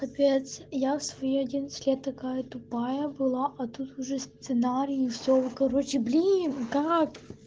опять я в свои одиннадцать лет такая тупая было а тут уже сценарии и все короче блин как